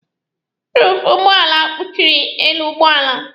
Ruufu ụgbọala kpuchịrị elu ụgbọala.